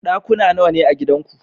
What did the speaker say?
Ɗakuna nawane a gidanku?